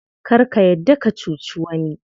Kar ka yarda ka cuci wani.